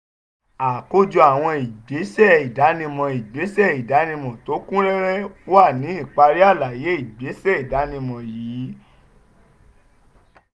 àkójọ àwọn ìgbésẹ̀ ìdánimọ̀ ìgbésẹ̀ ìdánimọ̀ tó kún rẹ́rẹ́ wà ní ìparí àlàyé ìgbésẹ̀ ìdánimọ̀ yìí.